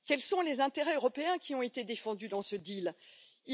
Quels sont les intérêts européens qui ont été défendus dans cet accord?